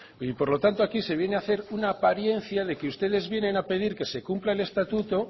y por lo tanto aquí se viene a hacer una apariencia de que ustedes vienen a pedir que se cumpla el estatuto